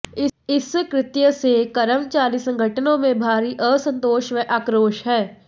इस कृत्य से कर्मचारी संगठनों में भारी असंतोष व आक्रोश है